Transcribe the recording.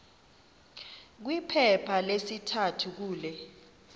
kwiphepha lesithathu kule